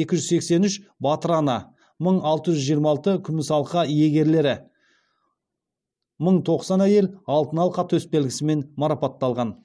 екі жүз сексен үш батыр ана мың алты жүз жиырма алты күміс алқа алқа иегерлері мың тоқсан әйел алтын алқа төсбелгісімен марапатталған